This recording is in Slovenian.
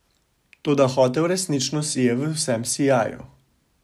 Toda hotel resnično sije v vsem sijaju.